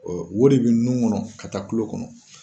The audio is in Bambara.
Ɔ wari bɛ n nunnu kɔnɔ ka taa kulo kɔnɔ.